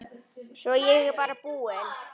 Svo er ég bara búin.